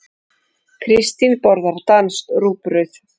Kristín borðar danskt rúgbrauð.